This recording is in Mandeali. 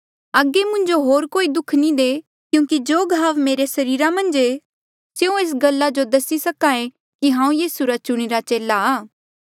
अगे मुंजो कोई होर दुःख नी दे क्यूंकि जो घाव मेरे सरीरा मन्झ ऐें स्यों एस गल्ला जो दसे कि हांऊँ यीसू रा चुणीरा चेला